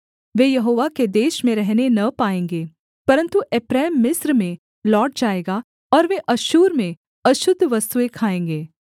वे यहोवा के देश में रहने न पाएँगे परन्तु एप्रैम मिस्र में लौट जाएगा और वे अश्शूर में अशुद्ध वस्तुएँ खाएँगे